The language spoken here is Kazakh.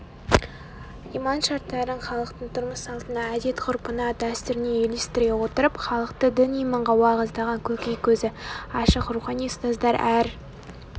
иман шарттарын халықтың тұрмыс-салтына әдет-ғұрпына дәстүріне үйлестіре отырып халықты дін-иманға уағыздаған көкей көзі ашық рухани ұстаздар әр